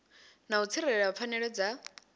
na u tsireledza pfanelo dza